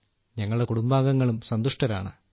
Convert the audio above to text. ഞങ്ങളുടെ കുടുംബാംഗങ്ങളും സന്തുഷ്ടരാണ്